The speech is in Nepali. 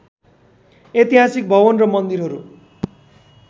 ऐतिहासिक भवन र मन्दिरहरू